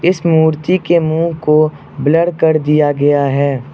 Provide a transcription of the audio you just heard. इस मूर्ति के मुंह को ब्लर कर दिया गया है।